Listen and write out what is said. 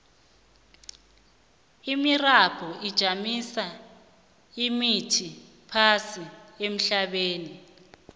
imirabhu ijamisa imithi phasi ehlabathini